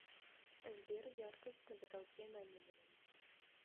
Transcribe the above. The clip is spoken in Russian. сбер яркость на потолке на минимум